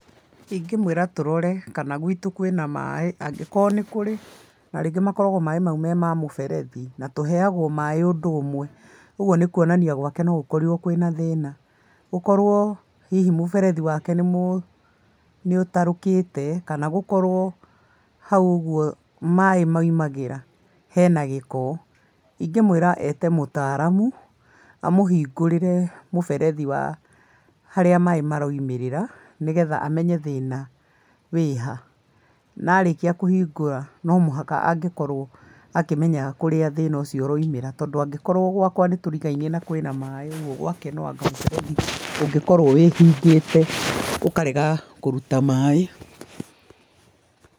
Ingĩ mwĩra tũrore kana gwitu kwĩna maaĩ, angĩkorwo nĩ kũrĩ na rĩngĩ makoragwo me maaĩ me ma mũberethi, na tũheagwo maaĩ ũndũ ũmwe, ũguo nĩ kwonania gwake no gũkorirwo kwĩna thĩna, gũkorwo hihi mũberethi wake nĩ mu nĩ ũtarũkĩte nagũkorwo haũ ũgũo maaĩ maumagĩra hena gĩko, ingĩmwĩra ete mũtaaramu, amũhingũrĩre mũberethi harĩa maaĩ maraũmĩrĩra ,nĩgetha amenye thĩna wĩha, na arĩkia kũhingũra no mũhaka angĩkorwo akĩmenya kurĩa thĩna ũcio ũraumĩra tondũ angĩkorwo gwakwa nĩtũrigainie na kwĩna maaĩ ũgũo gwake no kũngĩkorwo wĩhingĩte gũkarega kũruta maaĩ.